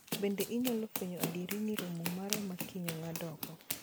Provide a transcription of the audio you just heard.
Bende inyalo fwenyo adieri ni romo mara makiny ong'ad oko